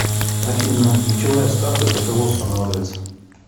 афина ключевая ставка для кого устанавливается